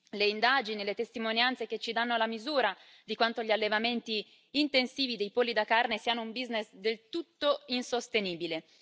le indagini e le testimonianze che ci danno la misura di quanto gli allevamenti intensivi dei polli da carne siano un business del tutto insostenibile.